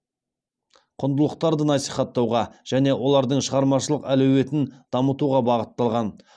құндылықтарды насихаттауға және олардың шығармашылық әлеуетін дамытуға бағытталған